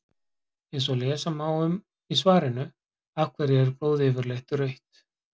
Eins og lesa má um í svarinu Af hverju er blóð yfirleitt rautt?